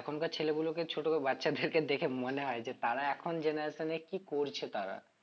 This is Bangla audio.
এখনকার ছেলেগুলোকে ছোট বাচ্ছাদেরকে দেখে মনে হয়ে যে তারা এখন generation এ কি করছে তারা